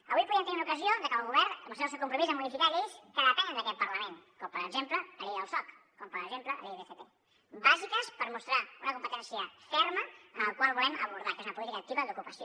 avui podíem tenir una ocasió de que el govern demostrés el seu compromís a modificar lleis que depenen d’aquest parlament com per exemple la llei del soc com per exemple la llei d’fp bàsiques per mostrar una competència ferma en el que volem abordar que és una política activa d’ocupació